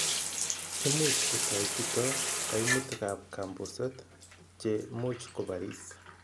Imuch kotoi chuto kaimutikab kambuset che much kobaris.